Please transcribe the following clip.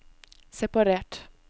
separert